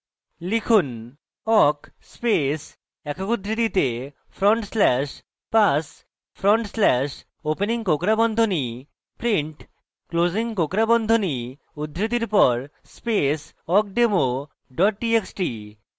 লিখুন: awk space awk উদ্ধৃতিতে front slash pass front slash opening কোঁকড়া বন্ধনী print closing কোঁকড়া বন্ধনী উদ্ধৃতির pass space awkdemo txt txt